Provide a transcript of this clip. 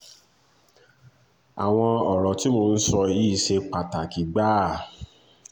àwọn ọ̀rọ̀ tí mò ń sọ yìí ṣe pàtàkì gbáà